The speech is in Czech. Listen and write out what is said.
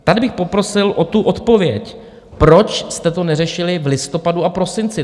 Tady bych poprosil o tu odpověď, proč jste to neřešili v listopadu a prosinci?